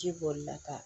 Ji bɔli la ka